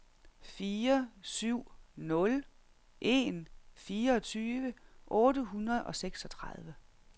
fire syv nul en fireogtyve otte hundrede og seksogtredive